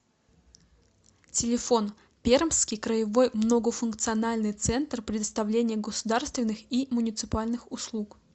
телефон пермский краевой многофункциональный центр предоставления государственных и муниципальных услуг